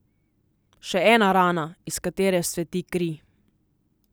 Še ena rana, iz katere vzcveti kri.